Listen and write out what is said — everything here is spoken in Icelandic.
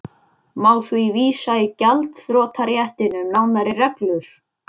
Má því vísa í gjaldþrotaréttinn um nánari reglur.